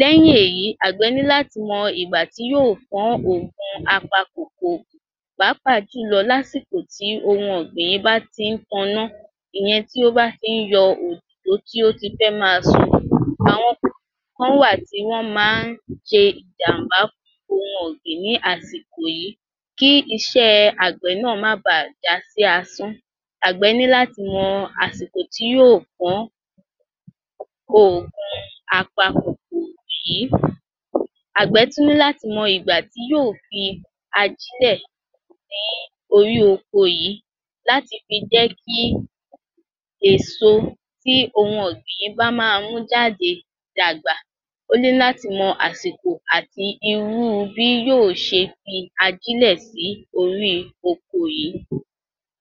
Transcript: Lẹ́yìn èyí, Àgbẹ̀ ní láti mọ ìgbà tí yóò pàápàá jùlọ lásìkò tí ohun ọ̀gbìn yìị́ bá tí taná ìyẹn tí ó ba tí yọ òdòdó tí o bá ti fẹ́ máa su. Àwọn kòkòrò kan wà tí wọn máa ṣe ìjàmbá fún ohun ọ̀gbìn ní àsìkò yìí. Kí iṣẹ́ Àgbẹ̀ náà má bà já sí asán, Àgbẹ̀ ní láti mọ àsìkò tí yóò pọ́n. oògùn apa kòkòrò yìí. Àgbẹ̀ tún ní láti mọ ìgbà tí yóò fi ajílẹ̀ sí orí oko yìí láti fi jẹ́ kí èso tí ohun ọ̀gbìn yìí bá máa mú jáde dàgbà. Ó ní láti mọ àsìkò àti irú bí yóò ṣe fi ajílẹ̀ sí orí oko yìí.